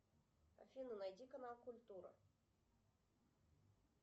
афина найди канал культура